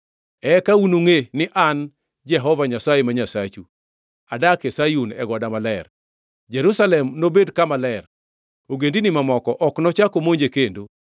“Eka unungʼe ni An, Jehova Nyasaye, ma Nyasachu, adak e Sayun, goda maler. Jerusalem nobed kama ler, ogendini mamoko ok nochak omonje kendo.